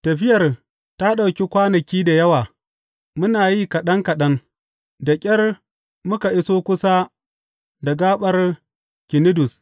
Tafiyar ta ɗauki kwanaki da yawa muna yi kaɗan kaɗan da ƙyar muka iso kusa da gaɓar Kinidus.